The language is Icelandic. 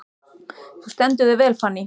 Þú stendur þig vel, Fanný!